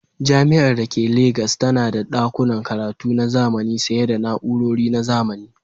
Jami'ar da ke Legas tana da ɗakunan karatu na zamani sanye da na'urori na zamani.